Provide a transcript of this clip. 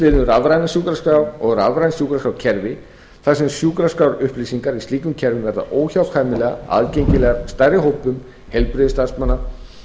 um rafrænar sjúkraskrár og rafræn sjúkraskrárkerfi þar sem sjúkraskrárupplýsinga í slíkum kerfum verða óhjákvæmilega aðgengilegar stærri hópum heilbrigðisstarfsmanna